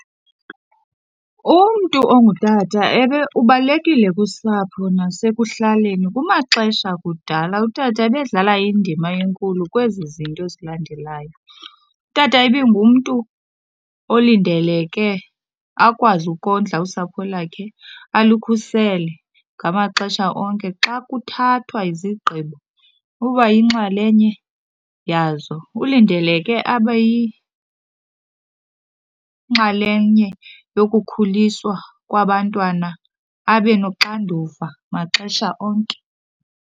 Umntu ongutata ubalulekile kusapho nasekuhlaleni. Kumaxesha akudala utata ubedlala indima enkulu kwezizinto zilandelayo. Utata ibingumntu olindeleke akwazi ukondla usapho lwakhe, alukhusele ngamaxesha onke. Xa kuthathwa izigqibo uba yinxalenye yazo. Ulindeleke abe yinxalenye yokukhuliswa kwabantwana, abe noxanduva maxesha onke.